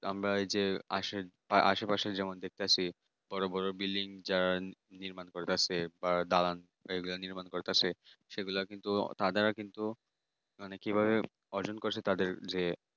আমরা এই যে আসে মানে আশেপাশে যেমন দেখতেছি বড় বড় building যা নির্মাণ করতেছে বা দালান নির্মাণ করতাছে সেগুলা কিন্তু দাদারা কিন্তু মানে কিভাবে অর্জন করছে তাদের যে টাকা পয়সা সেটা কিন্তু